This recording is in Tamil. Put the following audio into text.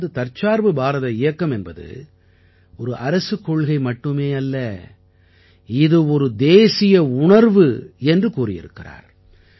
அதாவது தற்சார்பு பாரத இயக்கம் என்பது ஒரு அரசுக் கொள்கை மட்டுமே அல்ல இது ஒரு தேசிய உணர்வு என்று கூறியிருக்கிறார்